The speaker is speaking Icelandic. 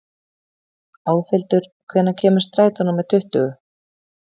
Álfhildur, hvenær kemur strætó númer tuttugu?